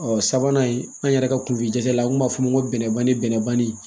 Ɔ sabanan an yɛrɛ ka kunfijala an kun b'a fɔ ko bɛnɛ banni bɛnnanni